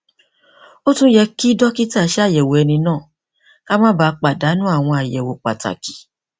ó tún yẹ kí dókítà ṣàyẹwò ẹni náà kí a má bàa pàdánù àwọn àyẹwò pàtàkì